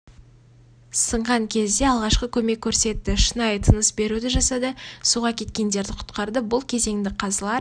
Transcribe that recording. сынған кезде алғашқы көмек көрсетті шынайы тыныс беруді жасады суға кеткендерді құтқарды бұл кезеңді қазылар